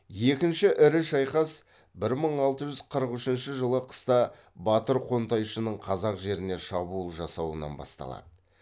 екінші ірі шайқас бір мың алты жүз қырық үшінші жылы қыста батыр қонтайшының қазақ жеріне шабуыл жасауынан басталады